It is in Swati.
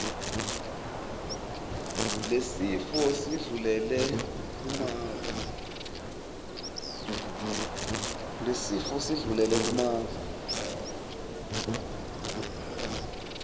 lesifo sindlulele kumave